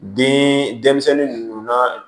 Den denmisɛn ninnu na